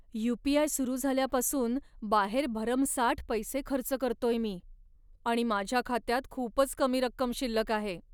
You. P. I. सुरू झाल्यापासून बाहेर भरमसाठ पैसे खर्च करतोय मी आणि माझ्या खात्यात खूपच कमी रक्कम शिल्लक आहे.